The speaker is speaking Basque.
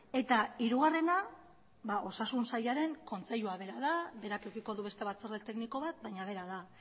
eta hirugarrena osasun sailaren kontseilua bera da berak edukiko du beste batzorde tekniko bat baina bera da